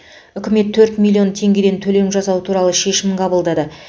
үкімет төрт миллион теңгеден төлем жасау туралы шешім қабылдады